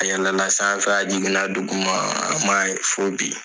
A yɛlɛla sanfɛ a jiginna dugumaa an m'a ye fo bi.